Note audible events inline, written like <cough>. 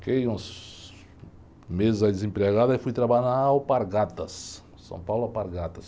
Fiquei uns meses aí desempregado e fui trabalhar lá na <unintelligible>